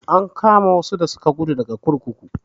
An kama wasu da suka guda daga kurkuku.